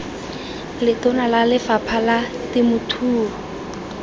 letona la lefapha la temothuo